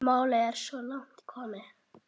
Málið er svo langt komið.